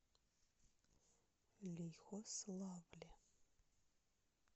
лихославле